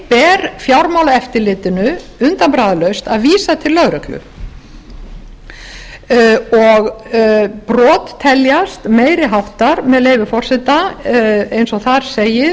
ber fjármáleftirlitinu undanbragðalaust að vísa til lögreglu brot teljast meiri háttar með leyfi forseti eins og þar segir